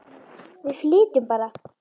Við flytjum bara!